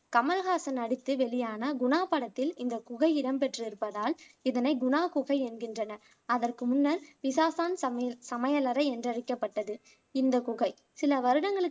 கமல்ஹாசன் நடித்து வெளியான குணா படத்தில் இந்த குகை இடம்பெற்றிருப்பதால் இதனை குணா குகை என்கின்றனர் அதற்கு முன்னர் பிசாசான் சமீர் சமையலறை என்றழைக்கப்பட்டது இந்த குகை சில வருடங்களுக்கு